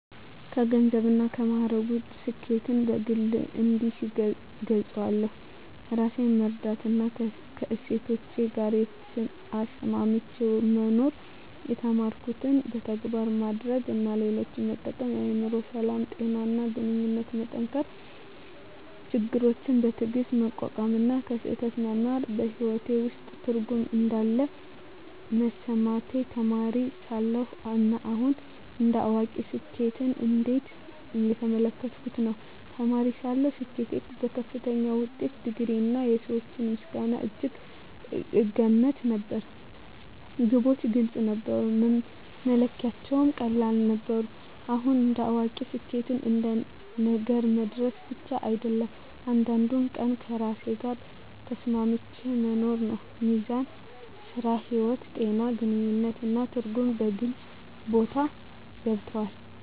ከገንዘብና ከማዕረግ ውጭ፣ ስኬትን በግል እንዲህ እገልጻለሁ፦ ራሴን መረዳትና ከእሴቶቼ ጋር ተስማምቼ መኖር የተማርኩትን በተግባር ማድረግ እና ሌሎችን መጠቀም የአእምሮ ሰላም፣ ጤና እና ግንኙነቶችን መጠንከር ችግሮችን በትዕግስት መቋቋም እና ከስህተት መማር በሕይወቴ ውስጥ ትርጉም እንዳለ መሰማቴ ተማሪ ሳለሁ እና አሁን እንደ አዋቂ ስኬትን እንዴት እየተመለከትኩ ነው? ተማሪ ሳለሁ ስኬትን በከፍተኛ ውጤት፣ ዲግሪ፣ እና የሰዎች ምስጋና እጅግ እገመት ነበር። ግቦች ግልጽ ነበሩ፣ መለኪያዎቹም ቀላል ነበሩ። አሁን እንደ አዋቂ ስኬት አንድ ነገር መድረስ ብቻ አይደለም፤ እያንዳንዱን ቀን ከራሴ ጋር ተስማምቼ መኖር ነው። ሚዛን (ሥራ–ሕይወት)፣ ጤና፣ ግንኙነት እና ትርጉም በግልጽ ቦታ ገብተዋል።